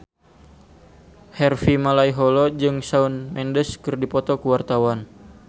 Harvey Malaiholo jeung Shawn Mendes keur dipoto ku wartawan